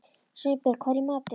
Sveinbjörg, hvað er í matinn?